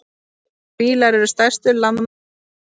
Fílar eru stærstu landdýr jarðar.